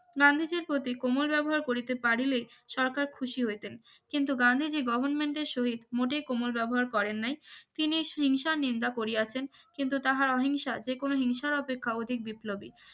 গান্ধীজীর প্রতি ওমর ব্যবহার করিতে পারলেই সরকার খুশি হইতেন কিন্তু গান্ধীজীর গভর্মেন্টের সহিত মোটেই কোমর ব্যবহার করেন নাই তিনি হিংসা নিন্দা করিয়াছেন কিন্তু তাহার অহিংসা যে কোন হিংসার অপেক্ষা অধিক বিপ্লবী